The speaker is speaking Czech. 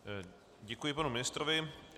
Děkuji panu ministrovi.